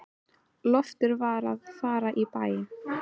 Loftur var að fara í bæinn.